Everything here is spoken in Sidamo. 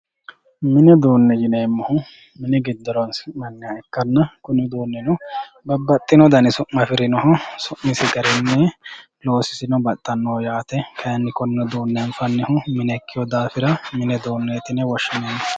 Mini uduune yineemohu mini gido horonsinanniha ikkana kuni uduunino babaxino dani suma afirinoho su'misi garini loosisino baxanoho yaate kayini kone uduune anfannihu mine ikkeeo daafira mini uduune yine woshinayi